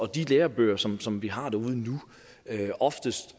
de lærebøger som som vi har derude nu er oftest